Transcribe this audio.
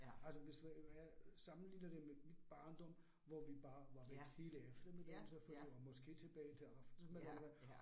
Altså hvis hvad jeg sammenligner det med mit barndom, hvor vi bare var væk hele eftermiddagen selvfølgelig og måske tilbage til aftensmaden eller hvad